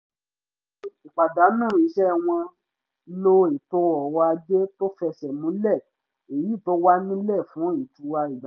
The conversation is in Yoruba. lẹ́yìn ìpàdánù iṣẹ́ wọ́n lo ètò ọrọ̀ ajé tó fẹsẹ̀ múlẹ̀ èyí tó wà nílẹ̀ fún ìtura ìgbà díẹ̀